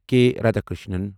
کے Radhakrishnan